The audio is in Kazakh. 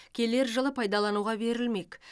келер жылы пайдалануға берілмек